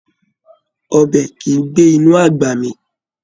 Ọbẹ̀ kìí gbé inú àgbà mì.